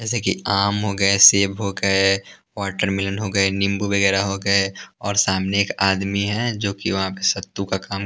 जैसे कि आम हो गए सेब हो गए वाटरमेलन हो गए नींबू वगैरा हो गए और सामने एक आदमी है जोकि वहां पे सत्तू का काम--